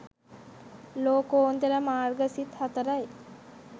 ලෝකෝත්තර මාර්ග සිත් 04 යි.